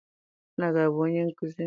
Nna gị abụ onye nkụzi?